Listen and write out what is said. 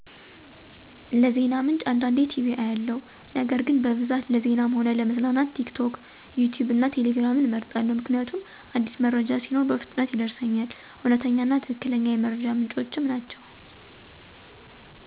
ለዜና ምንጭ አንዳንዴ ቲቪ አያለሁ ነገር ግን በብዛት ለዜናም ሆነ ለመዝናናት ቲክቶክ፣ ዩትዩብ እና ቴሌግራምን እመርጣለሁ ምክንያቱም አዲስ መረጃ ሲኖር በፍጥነት ይደርሰኛል፤ እውነተኛ እና ትክክለኛ የመረጃ ምንጮችም ናቸወ።